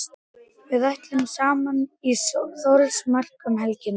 Við ætlum saman í Þórsmörk um helgina.